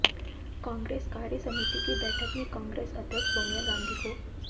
कांग्रेस कार्यसमिति की बैठक में कांग्रेस अध्यक्ष सोनिया गांधी को